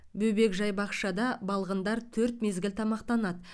бөбекжай бақшада балғындар төрт мезгіл тамақтанады